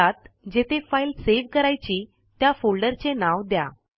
यात जेथे file save करायची त्या फोल्डरचे नाव द्या